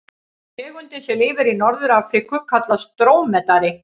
Tegundin sem lifir í Norður-Afríku kallast drómedari.